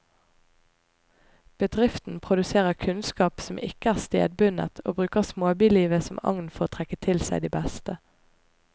Bedriften produserer kunnskap som ikke er stedbundet, og bruker småbylivet som agn for å trekke til seg de beste.